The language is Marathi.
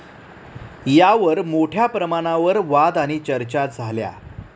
यावर मोठ्या प्रमाणावर वाद आणि चर्चा झाल्या.